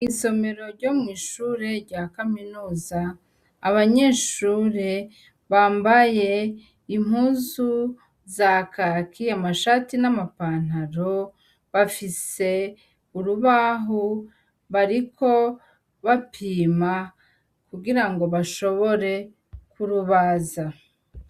Isomero ryo mw'ishure rya kaminuza, abanyeshure bambaye impuzu za kaki amashati n'amapantaro, bafise urubaho bariko bapima kugira ngo bashobore kurubaza.